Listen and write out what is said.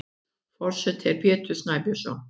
Forseti er Pétur Snæbjörnsson.